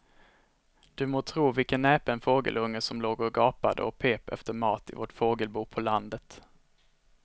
Du må tro vilken näpen fågelunge som låg och gapade och pep efter mat i vårt fågelbo på landet.